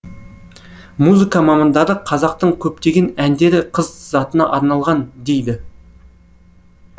музыка мамандары қазақтың көптеген әндері қыз затына арналған дейді